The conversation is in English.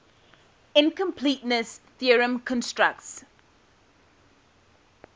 incompleteness theorem constructs